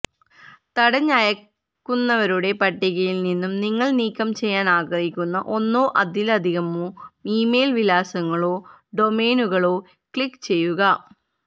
തടഞ്ഞ അയയ്ക്കുന്നവരുടെ പട്ടികയിൽ നിന്നും നിങ്ങൾ നീക്കം ചെയ്യാൻ ആഗ്രഹിക്കുന്ന ഒന്നോ അതിലധികമോ ഇമെയിൽ വിലാസങ്ങളോ ഡൊമെയ്നുകളിലോ ക്ലിക്കുചെയ്യുക